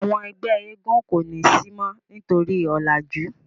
àwọn ẹgbẹ éégún ko ni si mo nitori ọlaju.